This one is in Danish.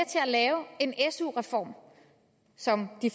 lave en su reform selv om de